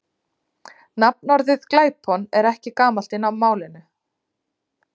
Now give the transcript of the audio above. Nafnorðið glæpon er ekki gamalt í málinu.